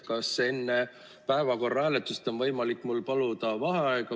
Kas enne päevakorra hääletust on võimalik mul paluda vaheaega?